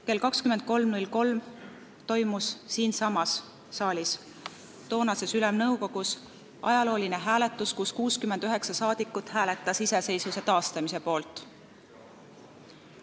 Kell 23.03 toimus siinsamas saalis, toonases Ülemnõukogus ajalooline hääletus, kus 69 rahvasaadikut hääletas iseseisvuse taastamise poolt.